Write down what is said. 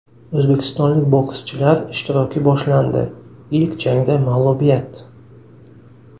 O‘zbekistonlik bokschilar ishtiroki boshlandi, ilk jangda mag‘lubiyat.